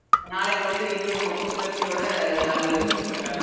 நாளைக்கு வந்து இன்னும் புத்~ புத்துணர்ச்சியோட அலுவலகத்துக்கு செல்லலாம்